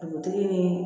Dugutigi ni